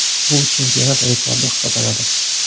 Bu chempionat rekordi hisoblanadi.